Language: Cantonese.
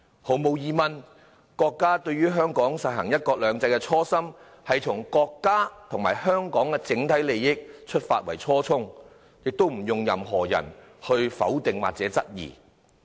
毫無疑問，國家對香港實行"一國兩制"的初心，從國家和香港的整體利益出發的初衷，不容任何人否定或質疑。